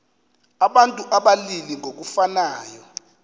abantu abalili ngokufanayo